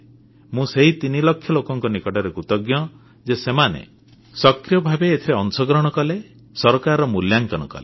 ମୁଁ ସେହି ତିନି ଲକ୍ଷ ଲୋକଙ୍କ ନିକଟରେ କୃତଜ୍ଞ ଯେ ସେମାନେ ସକ୍ରିୟ ଭାବେ ଏଥିରେ ଅଂଶଗ୍ରହଣ କଲେ ସରକାରର ମୂଲ୍ୟାଙ୍କନ କଲେ